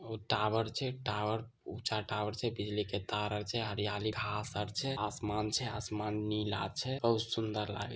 ओ tower छे tower ऊँचा tower छे बिजली के तार वार छे हरियाली घास आर छे असमान छे असमान नीला छे और सुंदर लागे --